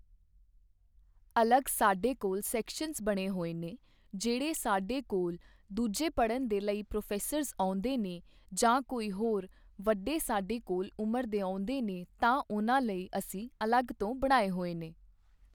ਅਲੱਗ ਸਾਡੇ ਕੋਲ ਸੈਕਸ਼ਨ ਬਣੇ ਹੋਏ ਨੇ ਜਿਹੜੇ ਸਾਡੇ ਕੋਲ ਦੂਜੇ ਪੜ੍ਹਨ ਦੇ ਲਈ ਪ੍ਰੋਫੈਸਰਜ਼ ਆਉਂਦੇ ਨੇ ਜਾਂ ਕੋਈ ਹੋਰ ਵੱਡੇ ਸਾਡੇ ਕੋਲ ਉਮਰ ਦੇ ਆਉਂਦੇ ਨੇ ਤਾਂ ਉਨ੍ਹਾਂ ਲਈ ਅਸੀਂ ਅਲੱਗ ਤੋਂ ਬਣਾਏ ਹੋਏ ਨੇ